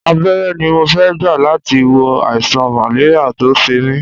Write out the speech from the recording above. Abẹ́rẹ́ ni mo fẹ́ gbà láti wo àìsàn màléríà tó ń ṣe mí